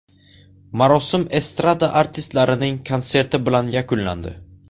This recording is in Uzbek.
Marosim estrada artistlarining konserti bilan yakunlandi.